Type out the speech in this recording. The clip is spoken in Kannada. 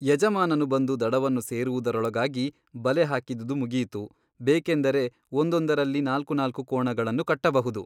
ಯಜಮಾನನು ಬಂದು ದಡವನ್ನು ಸೇರುವುದರೊಳಗಾಗಿ ಬಲೆ ಹಾಕಿದುದು ಮುಗಿಯಿತು ಬೇಕೆಂದರೆ ಒಂದೊಂದರಲ್ಲಿ ನಾಲ್ಕು ನಾಲ್ಕು ಕೋಣಗಳನ್ನು ಕಟ್ಟಬಹುದು.